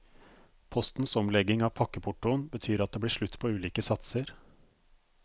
Postens omlegging av pakkeportoen betyr at det blir slutt på ulike satser.